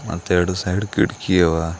ಮತ್ತೆ ಎರಡು ಸೈಡ್ ಕಿಟಕಿ ಅವ.